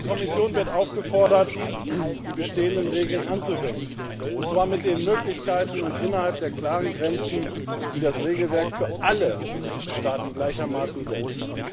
Und die Kommission wird aufgefordert, die bestehenden Regeln anzuwenden, und zwar mit den Möglichkeiten und innerhalb der klaren Grenzen, die das Regelwerk für alle Mitgliedstaaten gleichermaßen setzt.